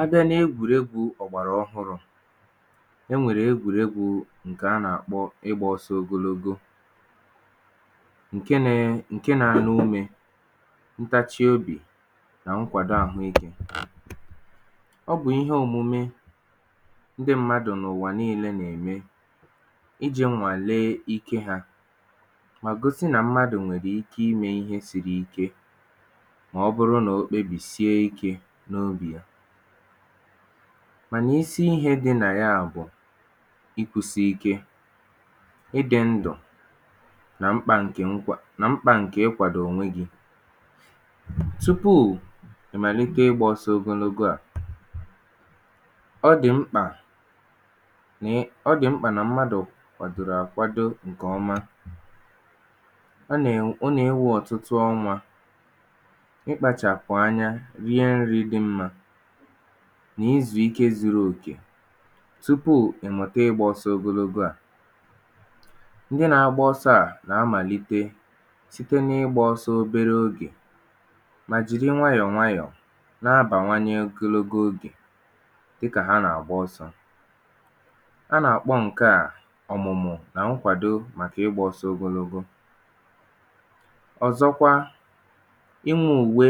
a bịa na egwùregwū ọ̀gbàrà ọhụrụ̄, e nwèrè egwùregwu ǹkè a nà àkpọ ịgbā ọsọ ogologo, ǹkẹ na ẹ, ǹkẹ na arụ nrī, ntachi obì, nà nkwàdo àhụ ikē. ọ bụ̀ ihe omume ndị mmadu nà ụ̀wà nillē nà ème, I jī nwàle ikē ha, gosi nà mmadù nwẹ̀rẹ̀ ike ị mẹ̄ ihe siri ikē, mà ọ bụrụ mà o kpebìsie ikē, n’ogè. mànà isi ihē dị nà yà bụ̀, o sì ike ị dị̄ ndụ̀, nà mkpā ǹkè nkwà, nà mkpà ǹke onwe gị. tupù ị mànite ị gbā osọ̄ ogonogo à, ọ dị mkpà nà ị, ọ dị̀ mkpà nà mmadù gà àkwado ǹkè ọma. ọ nà ewē ọtụtụ ọnwā, ị kpachàpụ̀ anya, rie nrī dị mmā, nà ịzụ̀ikē zuru òkè, tupù ị̀ mụ̀ta ịgbā ọsọ̄ ogologo à. ndị na agba ọsọ̄ à gà amàlite, site na ịgbā ọsọ obere ogè, mà jìri nwayọ̀ nwayọ̀, na abàwanye ogologo ogè, dịkà ha nà àgba ọsọ̄. ha nà àkpọ ǹkẹ à ọ̀mụ̀mụ̀, nà nkwàdo màkà ịgbā ọsọ ogologo. ọ̀zọkwa, inwē ùwe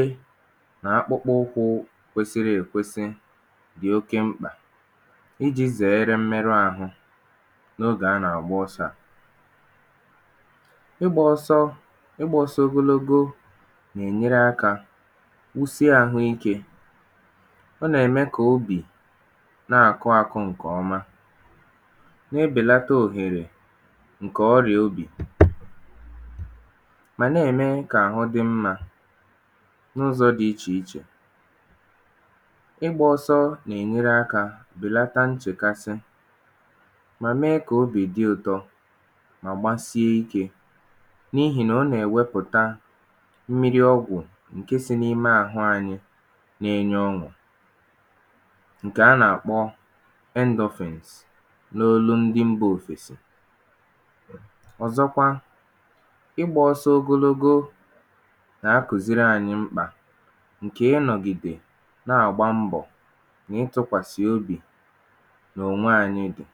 nà akpụkpọ ụkwụ̄ kwesiri è kwesi dị mkpà, I jī zẹ̀ẹrẹ mmẹrụ àhụ, n’ogè a nà àgba ọsọ̄ à. ịgbā ọsọ, ịgbā ọsọ ogologo nà è nyere akā kwusi àhụ ikē. ọ nà ẹ̀mẹ kà obì nà àkụ akụ̄ ǹkẹ̀ ọma, na ebèlata ohèrè, ǹkẹ ọrị̀à obì, mà nà ẹ̀mẹ kà àhụ dị mmā, n’ụzọ̄ dị ichè ichè. ịgbā ọsọ nà ènyere akā, bèlata nchèkasị, mà mẹ kà obì dị ụtọ, mà gbasie ikē, n’ihì nà ọ nà ẹ̀wẹpụ̀ta mmiri ọgwụ̀, ǹke sị n’ime àhụ anyị, na ẹnyẹ ọñụ̀, ǹkẹ̀ a nà àkpọ endorphins, n’olu ndị mbā ofèsi. ọ̀zọkwa, ịgbā ọsọ ogologo yà a kùziri anyị mkpà, nkè ị nọ̀gìdè, nà àgba mbọ̀ nà ịtụ̄kwàsị̀ obì nà ònwe anyị.